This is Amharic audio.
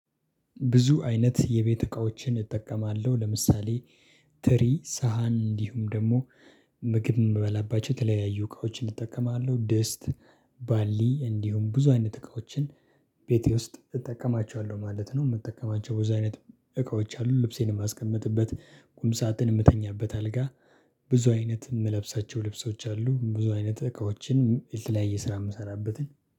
ብዙ አይነት የቤት እቃዎችን እጠቀማለሁ። ለምሳሌ ትሪ ሳህን እንዲሁም ደግሞ ምግብ የምበላባቸው የተለያዩ እቃዎችን እጠቀማለሁ። ድስት ባሊ እንዲሁም ብዙ አይነት እቃዎችን ቤቴ ውስጥ እጠቀማቸዋለሁ ማለት ነው። የምጠቀማቸው በዚህ አይነት እቃዎች አሉ። ልብሴን የማስቀምጥበት ቁም ሳጥን የምተኛበት አልጋ ብዙ አይነት የምለብሳቸው ልብሶች አሉ። ብዙ አይነት እቃዎችን የተለያየ ስራ የምሰራበትን